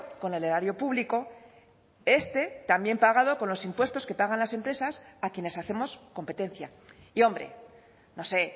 con el erario público este también pagado con los impuestos que pagan las empresas a quienes hacemos competencia y hombre no sé